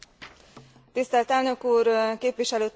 Tisztelt elnök úr, képviselőtársaim!